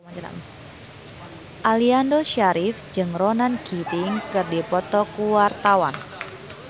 Aliando Syarif jeung Ronan Keating keur dipoto ku wartawan